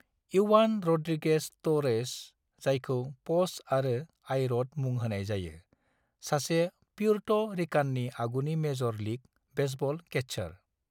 Ivan Rodriguez Torres, जायखौ 'Pudge' आरो 'I Rod' मुं होनाय जायो, सासे प्यूर्टो रिकाननि आगुनि मेजर लीग बेसबल कैचार।